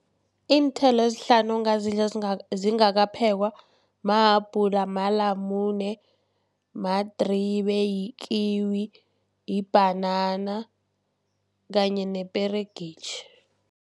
Iinthelo ezihlanu ongazidla zingakaphekwa mahabhula, malamune, madribe, yikiwi, libhanana kanye neperegitjhi.